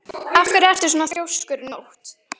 Af hverju ertu svona þrjóskur, Nótt?